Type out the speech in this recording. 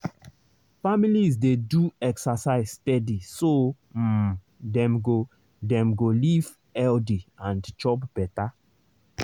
families dey do exercise steady so um dem go dem go live healthy and chop better.